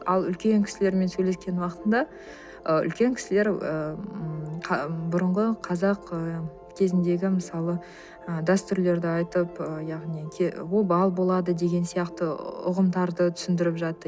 ал үлкен кісілермен сөйлескен уақытында ы үлкен кісілер ы м бұрынғы қазақ ы кезіндегі мысалы ы дәстүрлерді айтып ы яғни обал болады деген сияқты ұғымдарды түсіндіріп жатты